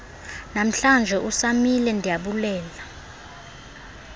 nanamhlanje usamile ndiyabulela